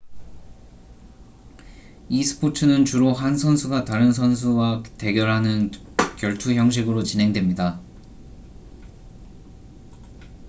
이 스포츠는 주로 한 선수가 다른 선수와 대결하는 결투 형식으로 진행됩니다